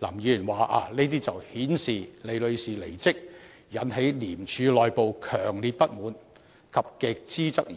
林議員說這些情況是反映出李女士離職引起廉署內部強烈不滿及極度質疑。